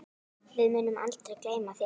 Við munum aldrei gleyma þér.